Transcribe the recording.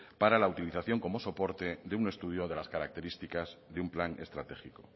para la utilización como soporte de un estudio de las características de un plan estratégico